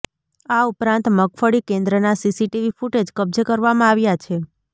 આ ઉપરાંત મગફળી કેન્દ્રના સીસીટીવી ફૂટેજ કબજે કરવામાં આવ્યા છે